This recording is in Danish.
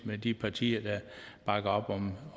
med de partier der bakker op om